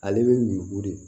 Ale bɛ ɲugu de